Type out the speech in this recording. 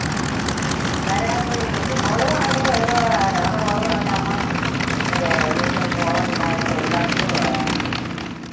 വരാ ഏർ മോള് പറഞ്ഞ് എന്തുവാ എന്നോട് മോള് പറഞ്ഞ് അമ്മാ ഏർ ഇനിയിപ്പം പോണ്ടാ തൊഴിലുറപ്പിന് പോകാന്